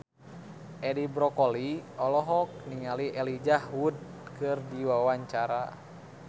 Edi Brokoli olohok ningali Elijah Wood keur diwawancara